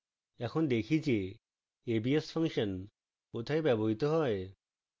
এখন দেখি যে abs ফাংশন কোথায় ব্যবহৃত হয়